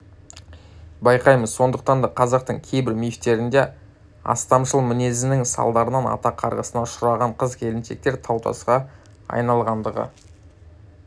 байқаймыз сондықтан да қазақтың кейбір мифтерінде астамшыл мінезінің салдарынан ата қарғысына ұшыраған қыз-келіншектер тау-тасқа айналғандығы